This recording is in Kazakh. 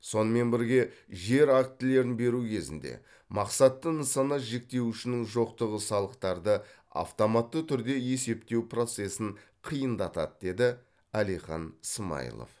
сонымен бірге жер актілерін беру кезінде мақсатты нысана жіктеуішінің жоқтығы салықтарды автоматты түрде есептеу процесін қиындатады деді әлихан смайылов